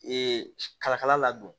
Ee kalakala ladon